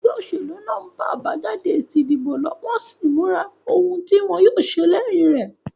Egbé òsèlú náà n ba àbájáde èsì ìdìbò lo, wón sín móra oun tí wón yío se léyin rè